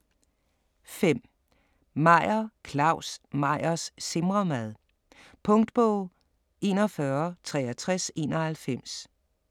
5. Meyer, Claus: Meyers simremad Punktbog 416391